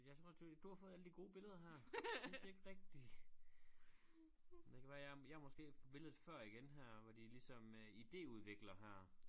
Jeg tror du du har fået alle de gode billeder her synes ikke rigtig men det kan være jeg jeg er måske på billedet før igen her hvor de ligesom øh idéudvikler her